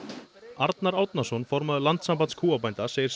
Arnar Árnason formaður Landssambands kúabænda segir